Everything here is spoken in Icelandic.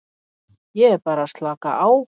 Ég er bara að slaka á.